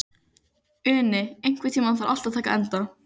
Uni, einhvern tímann þarf allt að taka enda.